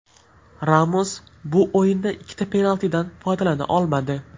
Ramos bu o‘yinda ikkita penaltidan foydalana olmadi.